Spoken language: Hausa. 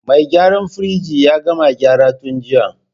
Mai gyaran firij ya gama gyara tun jiya.